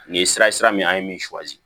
Nin sira ye sira min an ye min